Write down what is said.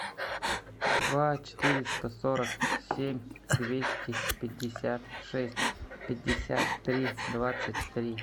два четыреста сорок семь двести пятьдесят шесть пятьдесят три двадцать три